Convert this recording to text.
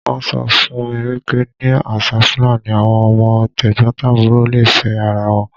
Wọ́n sọ fún mi wípé ní àṣà Fúlàní, àwọn ọmọ t'ẹ̀gbọ̀ntàbúrò le fẹ́ ara wọn.